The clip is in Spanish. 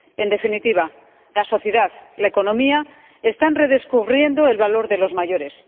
En definitiva, la sociedad y la economía están redescubriendo el valor de los mayores.